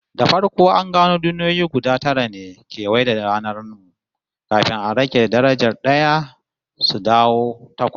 Da farko an gano duniyoyi guda tara ne kewaye da ranar mu, kafin aka rage darajar d'aya suka dawo takwas